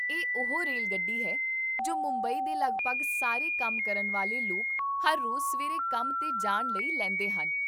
ਇਹ ਉਹ ਰੇਲਗੱਡੀ ਹੈ ਜੋ ਮੁੰਬਈ ਦੇ ਲਗਭਗ ਸਾਰੇ ਕੰਮ ਕਰਨ ਵਾਲੇ ਲੋਕ ਹਰ ਰੋਜ਼ ਸਵੇਰੇ ਕੰਮ 'ਤੇ ਜਾਣ ਲਈ ਲੈਂਦੇ ਹਨ